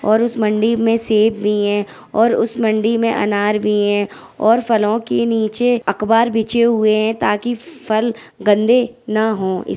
और उस मंडी में से भी है सेब भी है और उसे मंडी में अनार भी है और फलों के नीचे अखबार बिछे हुए है ताकि फल गंदे ना हो। इ --